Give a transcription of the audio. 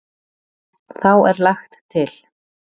Þá er lagt til.